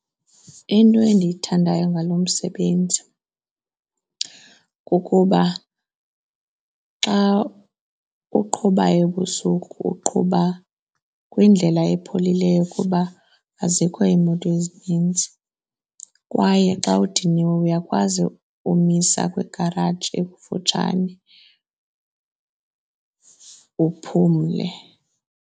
Into endiyithandayo ngalo msebenzi kukuba xa uqhuba ebusuku uqhuba kwindlela epholileyo kuba azikho iimoto ezininzi kwaye xa udiniwe, uyakwazi umisa kwigaraji ekufutshane uphumle.